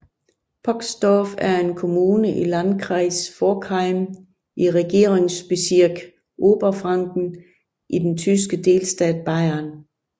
Poxdorf er en kommune i Landkreis Forchheim i Regierungsbezirk Oberfranken i den tyske delstat Bayern